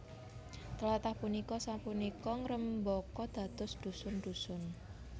Tlathah punika sapunika ngrembaka dados dhusun dhusun